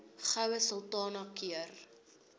goue sultana keur